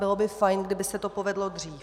Bylo by fajn, kdyby se to povedlo dřív.